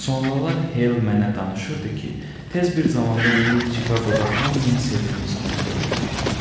Sonralar Hell mənə danışırdı ki, tez bir zamanda Will Chicagoda hamının sevimlilisinə çevrilmişdi.